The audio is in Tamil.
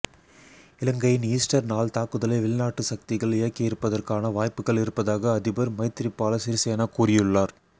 இலங்கையின் ஈஸ்டர் நாள் தாக்குதலை வெளிநாட்டு சக்திகள் இயக்கியிருப்பதற்கான வாய்ப்புகள் இருப்பதாக அதிபர் மைத்ரிபால சிறிசேன கூறியுள்ளார்